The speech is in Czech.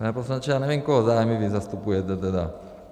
Pane poslanče, já nevím, koho zájmy vy zastupujete tedy.